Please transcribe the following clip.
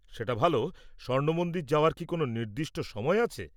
সেটা ভাল। স্বর্ণ মন্দির যাওয়ার কি কোনও নির্দিষ্ট সময় আছে?